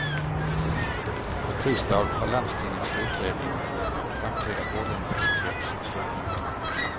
På tisdag har landstingets utredning om ett framtida vårduniversitet sitt slutmöte.